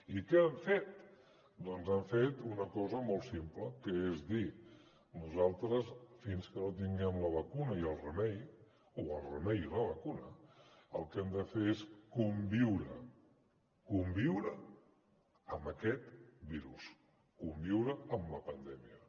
i què han fet doncs han fet una cosa molt simple que és dir nosaltres fins que no tinguem la vacuna i el remei o el remei i la vacuna el que hem de fer és conviure conviure amb aquest virus conviure amb la pandèmia